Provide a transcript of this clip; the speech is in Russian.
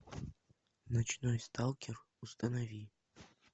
ночной сталкер установи